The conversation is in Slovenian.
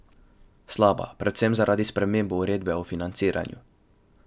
Slaba, predvsem zaradi sprememb uredbe o financiranju.